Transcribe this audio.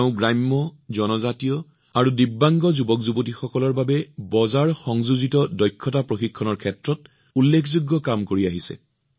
তেওঁ গ্ৰাম্য জনজাতীয় আৰু বিকলাংগ যুৱকযুৱতীসকলৰ বাবে বজাৰ সংযোজিত দক্ষতা প্ৰশিক্ষণৰ ক্ষেত্ৰত উল্লেখযোগ্য কাম কৰি আহিছে